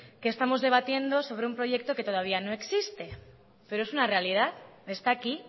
que estamos debatiendo sobre un proyecto que todavía no existe pero es una realidad está aquí